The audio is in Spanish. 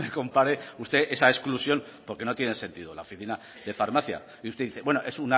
compare usted esa exclusión porque no tiene sentido la oficina de farmacia y usted dice bueno es